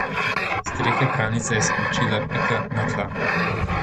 S strehe pralnice je skočila Pika na tla.